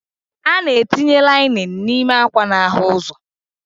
A na-etinye lainin n'ime ákwà n'ahụ ụzọ.